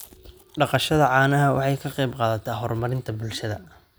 Dhaqashada caanaha waxay ka qayb qaadataa horumarinta bulshada.